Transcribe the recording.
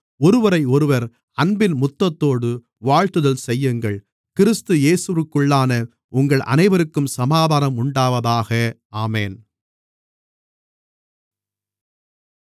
ஒருவரையொருவர் அன்பின் முத்தத்தோடு வாழ்த்துதல் செய்யுங்கள் கிறிஸ்து இயேவிற்குள்ளான உங்கள் அனைவருக்கும் சமாதானம் உண்டாவதாக ஆமென்